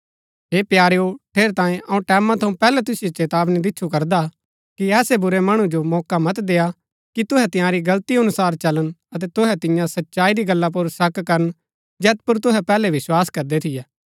हे प्यारेओ ठेरैतांये अऊँ टैमां थऊँ पैहलै तुसिओ चेतावनी दिच्छु करदा हा कि ऐसै बुरै मणु जो मौका मत देय्आ कि तुहै तंयारी गलती अनुसार चलन अतै तुहै तिन्या सच्चाई री गल्ला पुर शक करन जैत पुर तुहै पैहलै विस्वास करदै थियै